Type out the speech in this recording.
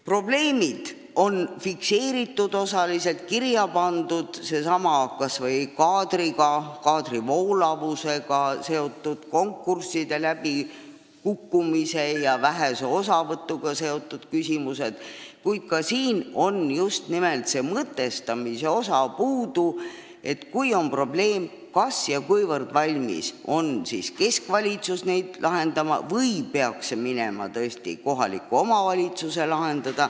Probleemid on fikseeritud osaliselt, osa neist on kirja pandud – kas või seesama kaadri voolavus, konkursside läbikukkumine ja vähene osavõtt neist –, kuid puudu on just nimelt mõtestamise osa, et kui on probleem olemas, siis kui valmis on keskvalitsus seda lahendama või peaks seda tegema tõesti kohalik omavalitsus.